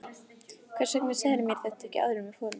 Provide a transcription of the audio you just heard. Hvers vegna sagðirðu mér þetta ekki áður en við fórum?